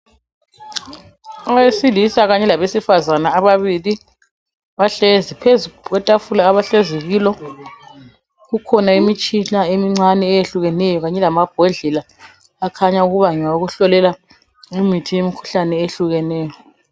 Owesilisa kanye labesifazane ababili bahlezi phezu kwetafula abahlezi kulo kukhona imitshina emincane eyehlukeneyo kanye lamabhodlela akhanya ukuba ngawokuhlolela imithi yemikhuhlane eyehlukeneyo